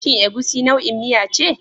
Shin Egusi nau'in miya ce?